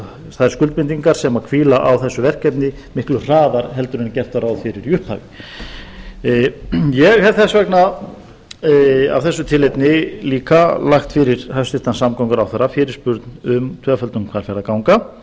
þær skuldbindingar sem hvíla á þessu verkefni miklu hraðar en gert var ráð fyrir í upphafi ég hef þess vegna af þessu tilefni líka lagt fyrir hæstvirtan samgönguráðherra fyrirspurn um tvöföldun hvalfjarðarganga